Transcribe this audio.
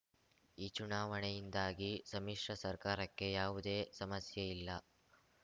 ಈ ಚುನಾವಣೆಯಿಂದಾಗಿ ಸಮ್ಮಿಶ್ರ ಸರ್ಕಾರಕ್ಕೆ ಯಾವುದೇ ಸಮಸ್ಯೆ ಇಲ್ಲ